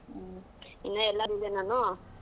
ಹ್ಮ್ ಇನ್ನ ಎಲ್ಲಾ ನಾನು.